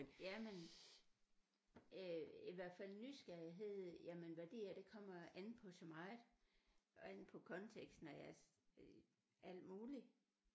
Jamen øh i hvert fald nysgerrighed jamen værdier det kommer an på så meget an på konteksten af øh alt muligt